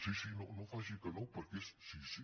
sí sí no faci que no perquè és sí sí